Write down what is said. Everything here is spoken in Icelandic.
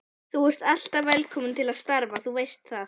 Þú ert alltaf velkominn til starfa, þú veist það.